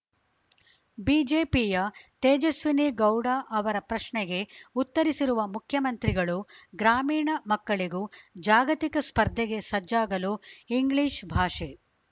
ಬಿಜೆಪಿಯ ತೇಜಸ್ವಿನಿಗೌಡ ಅವರ ಪ್ರಶ್ನೆಗೆ ಉತ್ತರಿಸಿರುವ ಮುಖ್ಯಮಂತ್ರಿಗಳು ಗ್ರಾಮೀಣ ಮಕ್ಕಳಿಗೂ ಜಾಗತಿಕ ಸ್ಪರ್ಧೆಗೆ ಸಜ್ಜಾಗಲು ಇಂಗ್ಲೀಷ್ ಭಾಷೆ